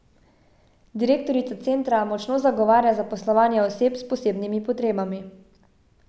Direktorica centra močno zagovarja zaposlovanje oseb s posebnimi potrebami.